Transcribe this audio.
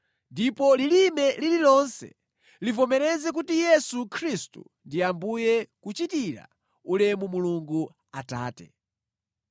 ndipo lilime lililonse livomereze kuti Yesu Khristu ndi Ambuye kuchitira ulemu Mulungu Atate.